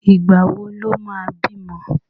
Ìgbà wo lo má bímọ